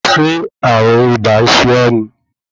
Ṣé ààrùn ibà ń ṣe ọ́ ni?